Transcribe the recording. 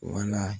Wala